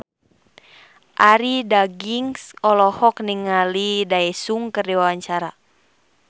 Arie Daginks olohok ningali Daesung keur diwawancara